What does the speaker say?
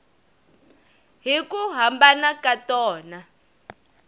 hi ku hambana ka tona